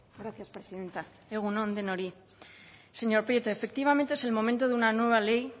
gracias presidenta egun on denoi señor prieto efectivamente es el momento de una nueva ley